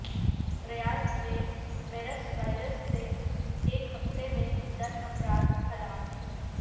ریاض میں MERS virus سے ایک ہفتے میں دس افراد ہلاک